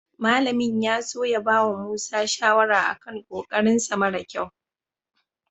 Malamin ya so ya bawa Musa shawara a kan ƙoƙarinsa mara ƙyau.